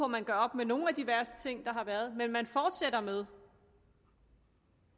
man gør op med nogle af de værste ting der har været men man fortsætter med